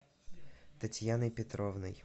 татьяной петровной